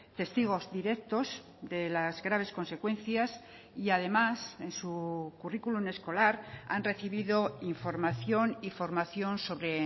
testigos directos de las graves consecuencias y además en su currículum escolar han recibido información y formación sobre